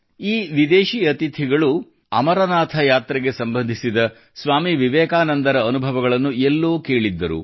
ಈ ವಿದೇಶಿ ಅತಿಥಿಗಳು ಅಮರನಾಥ ಯಾತ್ರೆಗೆ ಸಂಬಂಧಿಸಿದ ಸ್ವಾಮಿ ವಿವೇಕಾನಂದರ ಅನುಭವಗಳನ್ನು ಎಲ್ಲೋ ಕೇಳಿದ್ದರು